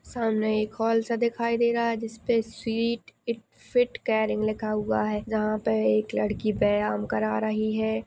सामने एक हाल सा दिखाई दे रहा है जिस पे स्वीट इट फिट केयरिंग लिखा हुआ है जहां पे एक लड़की व्यायाम करवा रही है।